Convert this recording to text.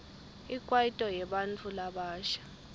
ikwaito yebantfu labasha